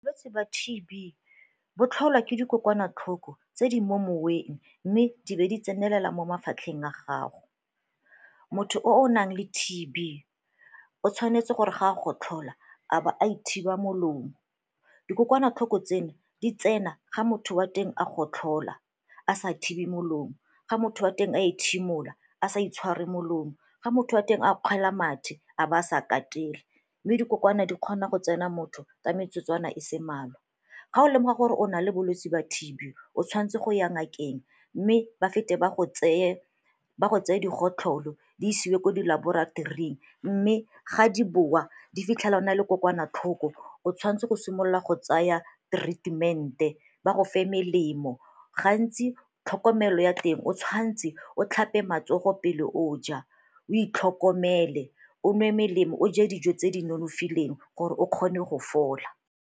Bolwetsi ba T_B bo tlholwa ke dikokwanatlhoko tse di mo moweng mme di be di tsenelela mo mafatlheng a gago. Motho o o nang le T_B o tshwanetse gore ga a gotlhola a ba a ithiba molomo. Dikokwanatlhoko tseno di tsena ga motho wa teng a gotlhola a sa thibi molomo, ga motho wa teng a ethimola a sa itshware molomo, ga motho a teng a kgwelana mathe a ba a sa katele mme dikokwana di kgona go tsena motho ka metsotswana e se mmalwa. Ga o lemoga gore o na le bolwetse ba T_B o tshwanetse go ya ngakeng mme ba fete ba go tseye di gotlholo di isiwe ko di laboratoring mme ga di bowa di fitlhela o na le kokwanatlhoko o tshwanetse go simolola go tsaya treatment-e ba go fe melemo. Gantsi tlhokomelo ya teng o tshwantse o tlhape matsogo pele o ja, o itlhokomele, o nwe melemo, o je dijo tse di nonofileng gore o kgone go fola.